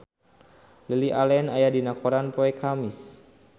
Lily Allen aya dina koran poe Kemis